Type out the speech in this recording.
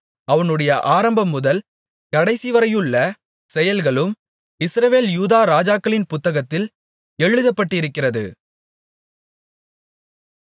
அவனுடைய ஆரம்பம்முதல் கடைசிவரையுள்ள செயல்களும் இஸ்ரவேல் யூதா ராஜாக்களின் புத்தகத்தில் எழுதப்பட்டிருக்கிறது